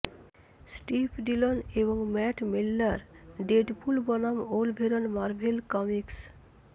Steve Dillon এবং Matt Miller Deadpool বনাম Wolverine Marvel comics